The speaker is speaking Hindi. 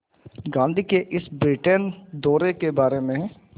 गांधी के इस ब्रिटेन दौरे के बारे में